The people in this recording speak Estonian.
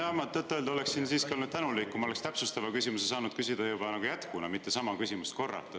Nojah, ma tõtt-öelda oleksin siiski olnud tänulik, kui ma oleksin täpsustava küsimuse saanud küsida juba nagu jätkuna, mitte sama küsimust korrata.